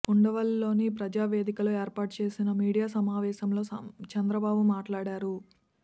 ఉండవల్లిలోని ప్రజావేదికలో ఏర్పాటు చేసిన మీడియా సమావేశంలో చంద్రబాబు మాట్లాడారు